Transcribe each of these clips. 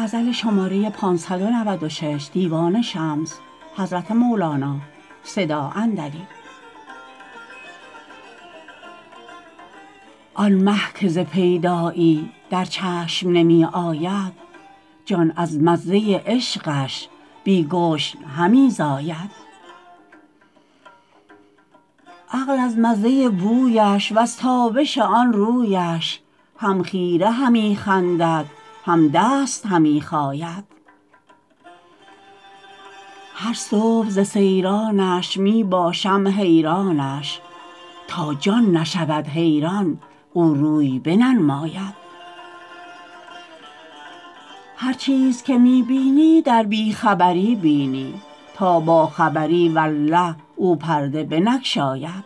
آن مه که ز پیدایی در چشم نمی آید جان از مزه عشقش بی گشن همی زاید عقل از مزه بویش وز تابش آن رویش هم خیره همی خندد هم دست همی خاید هر صبح ز سیرانش می باشم حیرانش تا جان نشود حیران او روی بننماید هر چیز که می بینی در بی خبری بینی تا باخبری والله او پرده بنگشاید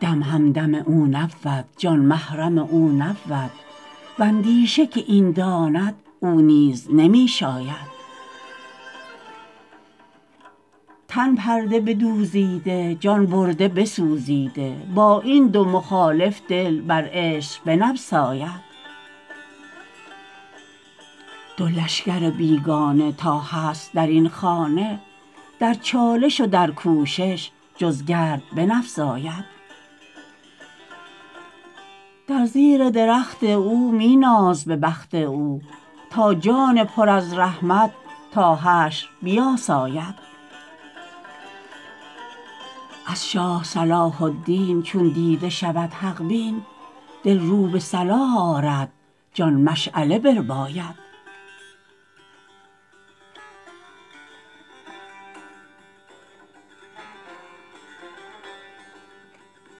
دم همدم او نبود جان محرم او نبود و اندیشه که این داند او نیز نمی شاید تن پرده بدوزیده جان برده بسوزیده با این دو مخالف دل بر عشق بنبساید دو لشکر بیگانه تا هست در این خانه در چالش و در کوشش جز گرد بنفزاید در زیر درخت او می ناز به بخت او تا جان پر از رحمت تا حشر بیاساید از شاه صلاح الدین چون دیده شود حق بین دل رو به صلاح آرد جان مشعله برباید